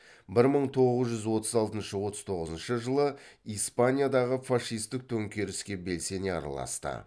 бір мың тоғыз жүз отыз алтыншы отыз тоғызыншы жылы испаниядағы фашистік төңкеріске белсене араласты